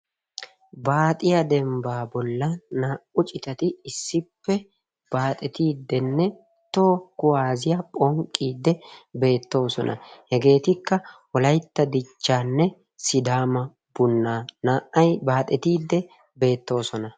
Baaxiya dembba bolla naa''u citati issippe baaxetiiddinne toho kuwaasiya phonqqiiddi beettoosona. hegetikka Wolaytta dichchanne Sidama bunnaa, naa''ay baaxetiiddi beettoosona.